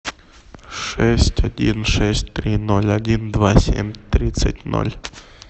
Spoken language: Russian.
шесть один шесть три ноль один два семь тридцать ноль